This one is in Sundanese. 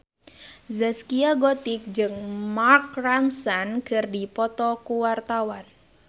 Zaskia Gotik jeung Mark Ronson keur dipoto ku wartawan